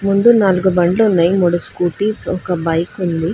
ముందు నాలుగు బండ్లు ఉన్నాయ్ మూడు స్కూటీస్ ఒక బైక్ ఉంది.